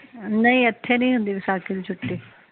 ਨਹੀਂ ਇਥੇ ਨੀ ਹੁੰਦੀ ਵਿਸਾਖੀ ਦੀ ਛੁੱਟੀ